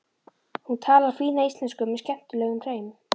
Hún talar fína íslensku með skemmtilegum hreim.